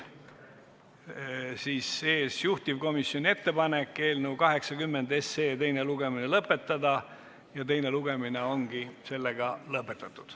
Juhtivkomisjoni ettepanek on eelnõu 80 teine lugemine lõpetada ja teine lugemine ongi lõpetatud.